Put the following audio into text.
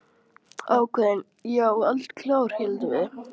Ákveðin, já, og eldklár, héldum við.